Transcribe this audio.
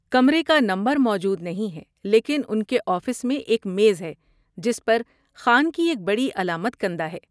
کمرے کا نمبر موجود نہیں ہے، لیکن ان کے آفس میں ایک میز ہے جس پر خان کی ایک بڑی علامت کندہ ہے۔